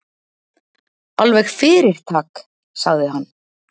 Alveg fyrirtak, sagði hann.